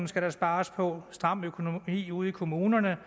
skal spares på stram økonomi ude i kommunerne